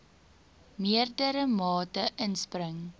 meerdere mate inspring